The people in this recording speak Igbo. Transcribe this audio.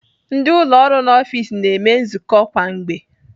Ndị ụlọ ọrụ n'ọfiks na-eme nzukọ kwa mgbe.